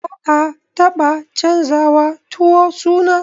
Ba'a taba canjawa tuwo suna.